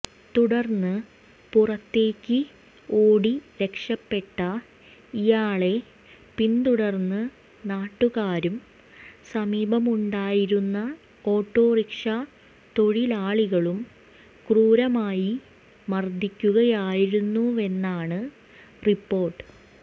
തുടര്ന്ന് പുറത്തേക്ക് ഓടി രക്ഷപെട്ട ഇയാളെ പിന്തുടര്ന്ന് നാട്ടുകാരും സമീപമുണ്ടായിരുന്ന ഓട്ടോറിക്ഷ തൊഴിലാളികളും ക്രൂരമായി മര്ദിക്കുകയായിരുന്നുവെന്നാണ് റിപ്പോര്ട്ട്